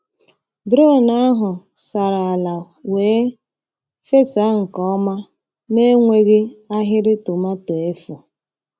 Drone ahụ sara ala wee fesa nke ọma n’enweghị ahịrị tomato efu.